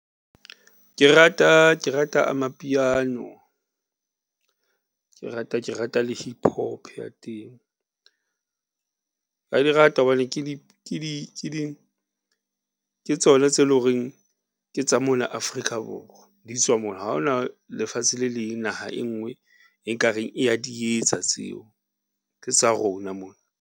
Ke rata Amapiano, ke rata le Hip Hop ya teng ra di rata hobane ke tsona tse lo reng ke tsa mona Afrika Borwa di tswa mona. Ha hona lefatshe le leng. Naha e nngwe e nka reng e ya di etsa tseo, ke tsa rona mona.